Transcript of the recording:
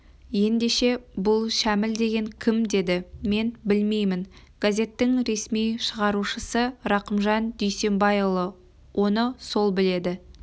ендеше бұл шәміл деген кім деді мен білмеймін газеттің ресми шығарушысы рақымжан дүйсенбайұлы оны сол біледі